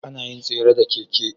Anayin tsere da keke